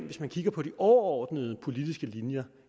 hvis vi kigger på de overordnede politiske linjer